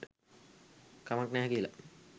කමක් නැහැ කියලා.